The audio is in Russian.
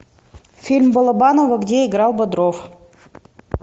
фильм балабанова где играл бодров